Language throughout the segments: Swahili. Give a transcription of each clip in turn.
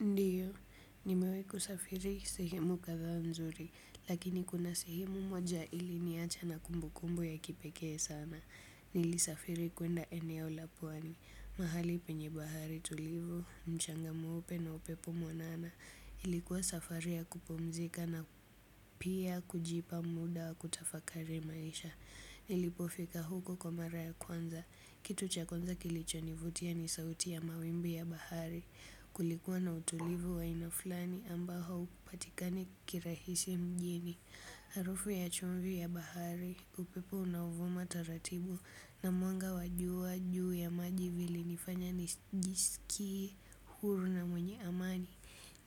Ndiyo, nimewai kusafiri sehemu kathaa mzuri, lakini kuna sehemu moja ili niacha na kumbukumbu ya kipekee sana. Nili safiri kuenda eneo lapwani, mahali penye bahari tulivu, mchanga muope na upepu mwanana. Ilikuwa safari ya kupumzika na pia kujipa muda wa kutafakari maisha. Nilipofika huko kwa mara ya kwanza. Kitu chakwanza kilicho nivutia ni sauti ya mawimbi ya bahari. Kulikuwa na utulivu wa aina flani ambaho upatikani kirahisi mjini. Harufu ya chumvi ya bahari, upepo unavuma taratibu. Na mwanga wajua juu ya maji vilinifanya njisikie huru na mwenye amani.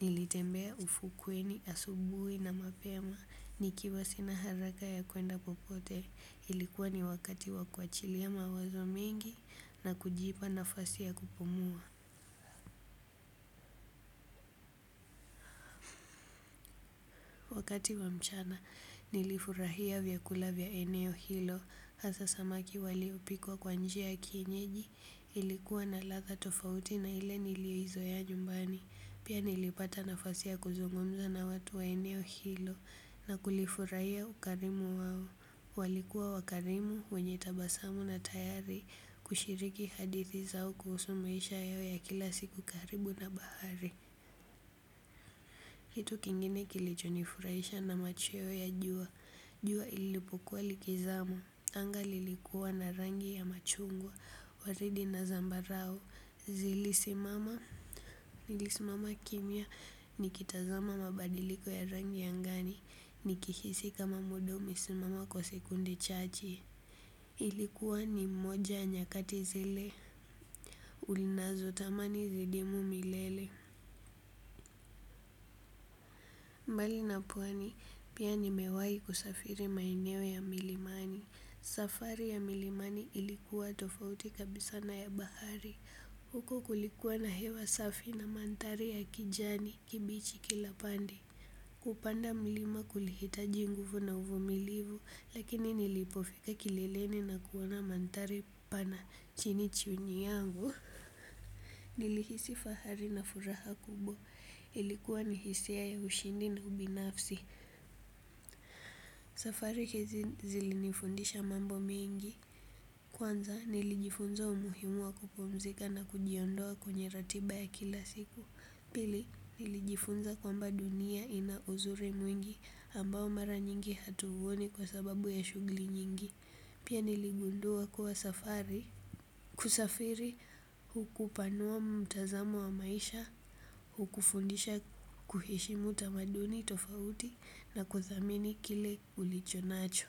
Nilitembea ufukweni, asubuhi na mapema. Nikiwa sina haraka ya kuenda popote. Ilikuwa ni wakati wa kuachilia mawazo mingi na kujipa nafasi ya kupumua. Wakati wa mchana nilifurahia vyakula vya eneo hilo. Hasa samaki waliopikwa kwa njia kienyeji. Ilikuwa na latha tofauti na ile nilio izoea jumbani. Pia nilipata nafasia kuzungumza na watu wa eneo hilo. Na kulifurahia ukarimu wawo. Walikuwa wakarimu wenye tabasamu na tayari kushiriki hadithi zao kuhusu maisha yao ya kila siku karibu na bahari. Hitu kingine kilicho nifurahisha na machweo ya jua. Jua ilipukua likizama. Angali likuwa na rangi ya machungwa waridi na zambarao. Zilisimama. Nilisimama kimya nikitazama mabadiliko ya rangi ya ngani nikihisi kama muda umesimama kwa sekunde chachi ilikuwa ni moja ya nyakati zile. Unazo tamani zidimu milele. Mbali na pwani pia nimewai kusafiri maeneo ya milimani. Safari ya milimani ilikuwa tofauti kabisana ya bahari. Huko kulikuwa na hewa safi na manthari ya kijani kibichi kilapande. Kupanda milima kulihitaj inguvu na uvumilivu. Lakini nilipofika kileleni na kuwana mantari pana chinichi unyangu. Nilihisi fahari na furaha kubo. Ilikuwa ni hisia ya ushindi na ubinafsi. Safari hizi zilinifundisha mambo mengi. Kwanza nilijifunza umuhimu wa kupomzika na kujiondoa kwenye ratiba ya kila siku. Pili nilijifunza kwamba dunia ina uzuri mwingi ambao mara nyingi hatuhuoni kwa sababu ya shugli nyingi. Pia niligundua kuwa safari kusafiri hukupanua mtazamu wa maisha hukufundisha kuheshimu tamaduni tofauti na kuthamini kile ulichonacho.